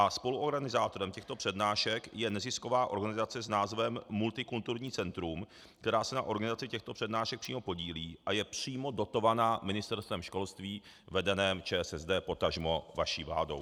A spoluorganizátorem těchto přednášek je nezisková organizace s názvem Multikulturní centrum, která se na organizaci těchto přednášek přímo podílí a je přímo dotovaná Ministerstvem školství vedeném ČSSD, potažmo vaší vládou.